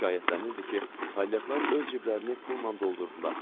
Şikayətlənirdi ki, palyaqlar öz ciblərinə pulla doldurdular.